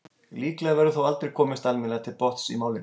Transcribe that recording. Líklega verður þó aldrei komist almennilega til botns í málinu.